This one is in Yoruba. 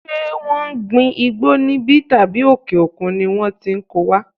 Ṣé wọn ń gbin igbó níbí tàbí òkè òkun ni wón ti ko wá?